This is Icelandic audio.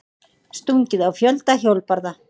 Stungið á fjölda hjólbarða